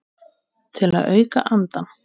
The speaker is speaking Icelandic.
Til að auka andann.